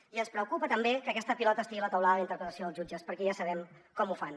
i ens preocupa també que aquesta pilota estigui a la teulada de la interpretació dels jutges perquè ja sabem com ho fan